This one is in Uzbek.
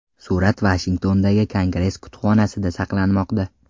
Surat Vashingtondagi Kongress kutubxonasida saqlanmoqda.